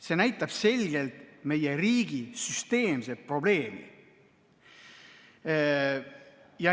See näitab selgelt meie riigi süsteemset probleemi.